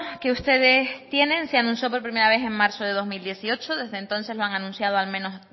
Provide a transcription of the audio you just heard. que ustedes tienen se anunció por primera vez en marzo de dos mil dieciocho desde entonces lo han anunciado al menos